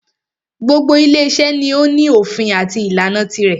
Gbogbo ile iṣẹ́ ni o ní òfin àti ìlànà tirẹ̀.